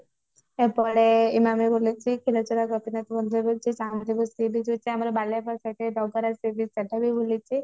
Khirachora Gopinath Chandipur sea beach ଯାଇଛି ଆମର Baliapal site ରେ ଡଗରା sea beach ସେଟା ବି ବୁଲିଛି ଯାଇଛି